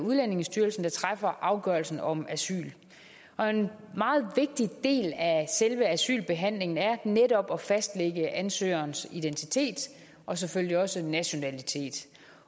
udlændingestyrelsen der træffer afgørelsen om asyl og en meget vigtig del af selve asylbehandlingen er netop at fastlægge ansøgerens identitet og selvfølgelig også nationalitet